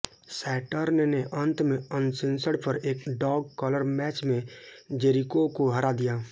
Saturn ने अंत में अनसेंसर्ड पर एक डॉग कॉलर मैच में जेरिको को हरा दिया